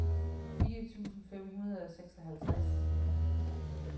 fire tusind fem hundrede og seksoghalvtreds